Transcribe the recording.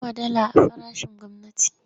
Nawa dala a farashin gwamnati?